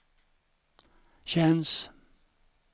känns